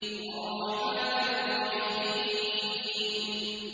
الرَّحْمَٰنِ الرَّحِيمِ